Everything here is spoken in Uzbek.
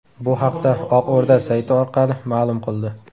Bu haqda Oq O‘rda sayti orqali ma’lum qildi .